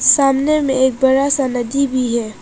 सामने में एक बड़ा सा नदी भी है।